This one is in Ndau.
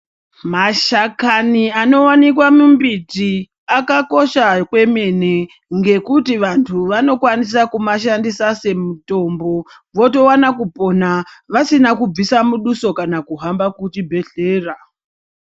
Mashakani anowanikwa mumbiti akakosha kwemene ngekuti vanhu vanokwanisa kumashandisa semutombo, votowana kupona vasina kubvisa muduso kana kuhamba kuchibhehlera.